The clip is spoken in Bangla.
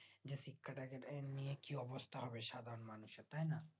যে শিক্ষাটাকে এ নিয়ে কি অবস্থা হবে সাধারণ মানুষের তাই না